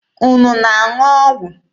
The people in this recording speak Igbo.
Unu na-aṅụ ọgwụ?